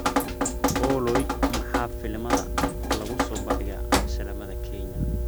olly maxaa filimada lagu soo bandhigaa shaleemada kenya